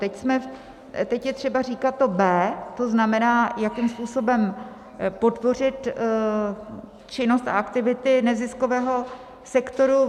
Teď je třeba říkat to B, to znamená, jakým způsobem podpořit činnost a aktivity neziskového sektoru.